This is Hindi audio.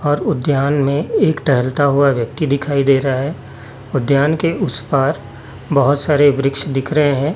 और उद्यान में एक टहलता हुआ व्यक्ति दिखाई दे रहा है और उद्यान के उस पार बहोत सारे वृक्ष दिख रहे हैं।